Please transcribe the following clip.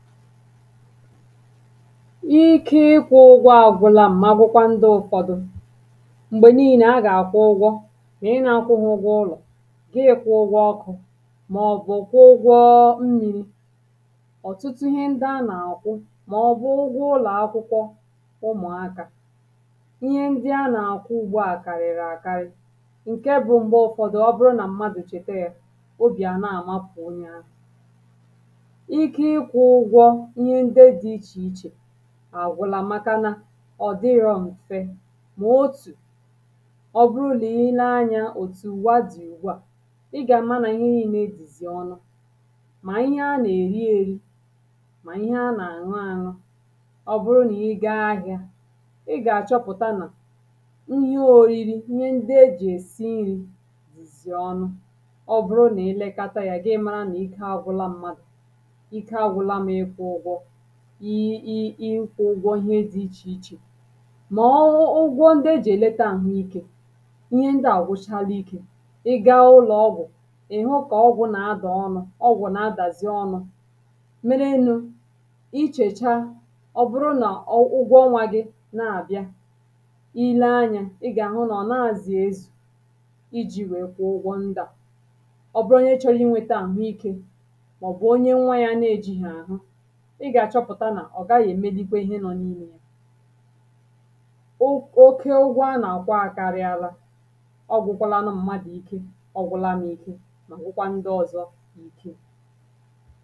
ike ịkwụ̇ ụgwọ̇ àgwụla m̀makwụkwa ndị ụ̇fọdụ m̀gbè niile agà-àkwụ ụgwọ ihe nȧ-akwụ ha ụlọ̀ gi ịkwụ̇ ụgwọ̇ ọkụ màọ̀bụ̀ ụgwọ̇ nri̇ m ọ̀tụtụ ihe ndị a nà-àkwụ màọ̀bụ̀ ụgwọ ụlọ̀ akwụkwọ ụmụ̀akȧ ihe ndị a nà-àkwụ ugbȯ à kàrìrì àkarị̇ ǹke bụ̇ m̀gbè ụ̀fọdụ ọbụrụ nà mmadụ̀ chète yȧ obì àna àmakwụ̀ onye ahụ̇ àgwụlà maka na ọ̀dịrọ m̀fe mà otù ọ bụrụ lìi lee anyȧ òtù wadì ùgbu à ị gà-ama nà ihe ị lee edìzì ọnụ mà ihe a nà-èri èri mà ihe a nà-àṅụ àṅụ ọ bụrụ nà ị gȧ-ȧhịȧ ị gà-àchọpụ̀ta nà nhiye òriri ihe ndị ejì esi nri dìzì ọnụ ọ bụrụ nà elekata yȧ gị mȧrȧ nà ike agwụla mmadụ̀ i i i i kwuo ụgwọ ihe dị ichè ichè ma ụgwọ ụgwọ ndị ejì èlete àhụ ike ihe ndị à gụchala ikė ị gaa ụlọọgwụ̀ ị̀ hụ kà ọgwụ nà-adà ọnụ ọgwụ nà-adàzi ọnụ̇ mere nu ichècha ọ bụrụ nà ụgwọ ọnwȧ gị na-àbịa ile anyȧ ị gà-àhụ nà ọ̀ na-àzị à ezù iji̇ wèe kwụọ ụgwọ ndụ̀ à ọ bụrụ nye chọrọ i nwėte àhụ ike màọ̀bụ̀ onye nwa yȧ na-eji̇ hà àhụ ọ gaghị èmelikwe ihe nọ n’imė ya oke ụgwọ a na-akwa akarị ala ọ gwụkwala anụ mmadụ ike ọgwụlanụ ike na ụkwụkwa ndị ọzọ n’ike